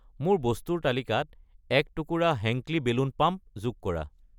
মোৰ বস্তুৰ তালিকাত 1 টুকুৰা হেংক্লী বেলুন পাম্প যোগ কৰা।